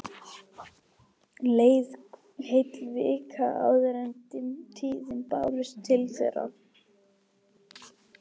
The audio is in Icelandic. Leið heil vika áður en dimm tíðindin bárust til þeirra.